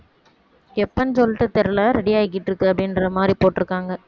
எப்பன்னு சொல்லிட்டு தெரியலே ready ஆகிட்டுருக்கு அப்படின்ற மாதிரி போட்டிருக்காங்க